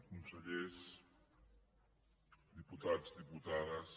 consellers diputats diputades